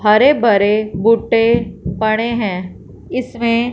हरे भरे बूटे पड़े हैं इसमें--